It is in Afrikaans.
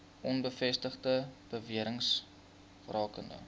onbevestigde bewerings rakende